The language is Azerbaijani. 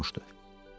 Çox yorulmuşdu.